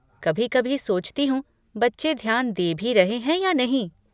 कभी कभी सोचती हूँ बच्चे ध्यान दे भी रहे हैं या नहीं।